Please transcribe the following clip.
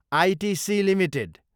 ITC Ltd